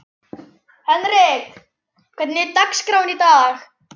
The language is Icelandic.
Hendrikka, hvernig er dagskráin í dag?